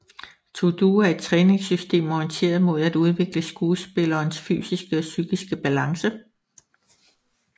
ToDo er et træningssystem orienteret mod at udvikle skuespillerens fysiske og psykiske balance